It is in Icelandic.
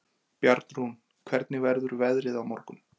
Bjarnrún, hvernig verður veðrið á morgun?